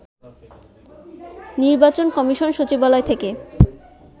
নির্বাচন কমিশন সচিবালয় থেকে